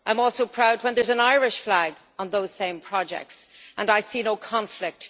I am also proud when there is an Irish flag on those same projects and I see no conflict.